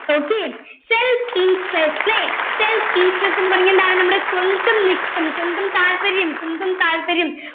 okay self interested self interest എന്ന് പറഞ്ഞാ എന്താണ് നമ്മുടെ സ്വന്തം ഇഷ്ടം സ്വന്തം താൽപര്യം സ്വന്തം താൽപര്യം